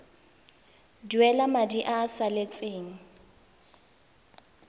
duela madi a a salatseng